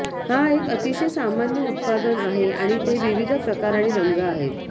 हा एक अतिशय सामान्य उत्पादन आहे आणि ते विविध प्रकार आणि रंग आहे